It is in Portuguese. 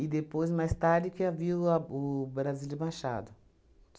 E depois, mais tarde, que havia o a o Brasília Machado.